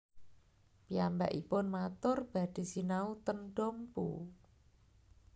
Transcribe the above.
Piyambakipun matur badhe sinau ten Dompu